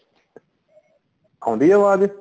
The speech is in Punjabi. ਆਉਂਦੀ ਏ ਆਵਾਜ਼